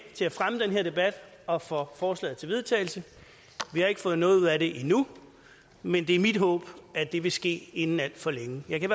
til at fremme den her debat og for forslaget til vedtagelse vi har ikke fået noget ud af det endnu men det er mit håb at det vil ske inden alt for længe jeg kan